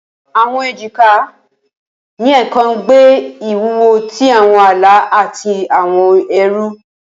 Awọn ejika, ni ẹẹkan gbe iwuwo ti awọn ala ati awọn ẹru